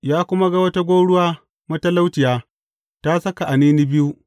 Ya kuma ga wata gwauruwa matalauciya, ta saka anini biyu.